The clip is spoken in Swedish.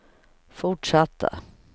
fortsatta